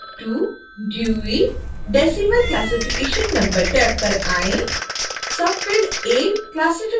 tab 082 dewey decimal classification number tab पर आएँ